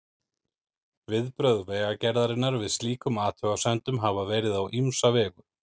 Viðbrögð Vegagerðarinnar við slíkum athugasemdum hafa verið á ýmsa vegu.